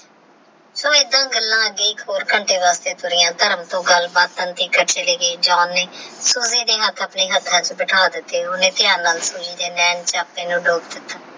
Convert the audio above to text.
ਸਬ ਆਈਦਾ ਗੱਲਾ ਦੀ ਏਕ ਹੋਰ ਘੰਟੇ ਵਾਸਤੇ ਤੁਰੀਯ ਧਰਮ ਟੋਹ ਗੱਲ ਬਾਤ ਚਲੇ ਗਏ ਜਾਨ ਨੇ ਓਹਦਾ ਹੇਠ ਆਪਣੇ ਹਰਹ ਵਿਚ ਬਿਠਾ ਲਿੱਤਾ ਓਹਨੇ ਧਯਾਨ ਨਾਲ ਸੁਨੀ